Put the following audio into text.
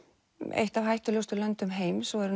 eitt af hættulegustu löndum heims og er